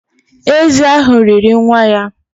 Ézì ahụ riri nwa ya